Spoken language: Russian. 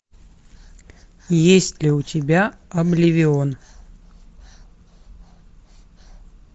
есть ли у тебя обливион